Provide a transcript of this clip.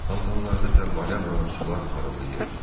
Fəvvarələrdə fəvvarə vuran sular parıldayır.